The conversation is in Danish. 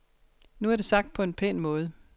Nu er det sagt på en pæn måde.